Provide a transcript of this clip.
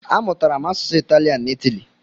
A mụtara m asụsụ Italian n'Itali.